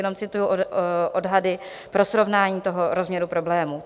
Jenom cituji odhady pro srovnání toho rozměru problému.